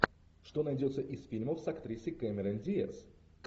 что найдется из фильмов с актрисой кэмерон диаз